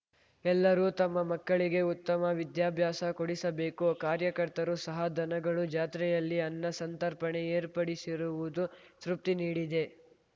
ಎಲ್ಲರೂ ತಮ್ಮ ಮಕ್ಕಳಿಗೆ ಉತ್ತಮ ವಿದ್ಯಾಭ್ಯಾಸ ಕೊಡಿಸಬೇಕು ಕಾರ್ಯಕರ್ತರು ಸಹ ದನಗಳು ಜಾತ್ರೆಯಲ್ಲಿ ಅನ್ನ ಸಂತರ್ಪಣೆ ಏರ್ಪಡಿಸಿರುವುದು ತೃಪ್ತಿ ನೀಡಿದೆ